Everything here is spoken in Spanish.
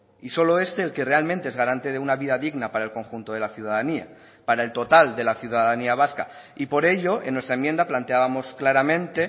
y solo este el que realmente es garante de una vida digna para el conjunto de la ciudadanía para el total de la ciudadanía vasca y por ello en nuestra enmienda planteábamos claramente